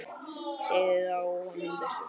Segið þá honum þessum.